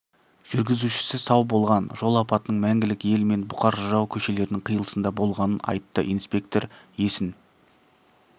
жүргізушісі сау болған жол апатының мәңгілік ел мен бұқар жырау көшелерінің қиылысында болғанын айтты инспектор есін